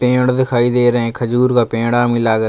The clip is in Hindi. पेड़ दिखाई दे रहे है खजूर का पेड़ है हमे लागत --